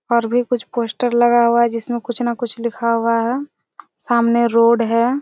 और भी कुछ पोस्टर लगा हुआ हैं जिसमें कुछ न कुछ लिखा हुआ हैं सामने रोड हैं।